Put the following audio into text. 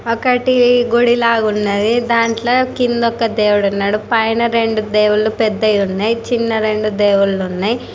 ఒకటి గుడి లాగా ఉన్నది దాంట్లో కింద ఒక దేవుడు ఉన్నాడు పైన రెండు దేవుళ్ళు పెద్దయి ఉన్నయి చిన్న రెండు దేవుళ్ళు ఉన్నాయి.